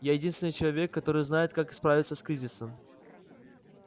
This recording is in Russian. я единственный человек который знает как справиться с кризисом